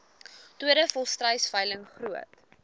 tweede volstruisveiling groot